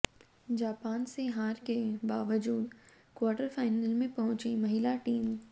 Japan से हार के बावजूद क्वार्टर फाइनल में पहुंची महिला टीम